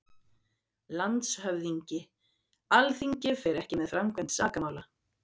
LANDSHÖFÐINGI: Alþingi fer ekki með framkvæmd sakamála.